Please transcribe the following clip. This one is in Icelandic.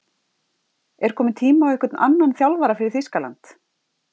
Er kominn tími á einhvern annan þjálfara fyrir Þýskaland?